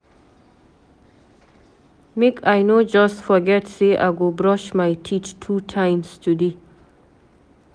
Make I no just forget sey I go brush my teeth two times today.